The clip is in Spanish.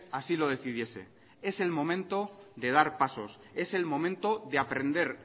así lo decidiese es el momento de dar pasos es el momento de aprender